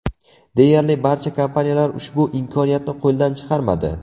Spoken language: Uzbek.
Deyarli barcha kompaniyalar ushbu imkoniyatni qo‘ldan chiqarmadi .